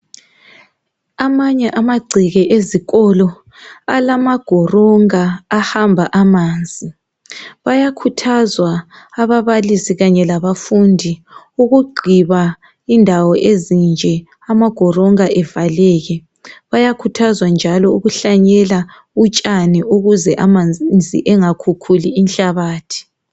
Amanye amagceke ezikolo alezifudlana ezihamba amanzi. Bayakhuthazwa ababalisi labafundi ukugqiba lezizifudlala ukuze zivaleke lokuhlanyela utshani ukuze amanzi angakhukhuli inhlabathi.